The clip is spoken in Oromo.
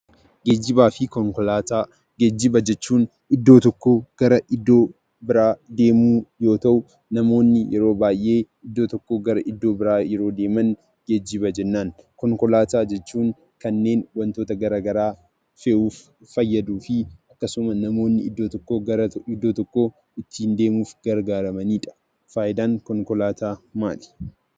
Geejjibaa fi Konkolaataa. Geejjiba jechuun iddoo tokkoo gara iddoo biraa deemuu yoo ta'u namoonni yeroo baayyee iddoo tokkoo gara iddoo biraa yeroo deeman geejjiba jennan. Konkolaataa jechuun kanneen wantoota garaa garaa fe'uuf fayyaduu fi wantoota yeroo namni bakka tokkoo gara bakka biraatti deemuuf gargaaramanii dha. Faayidaan konkolaataa maal?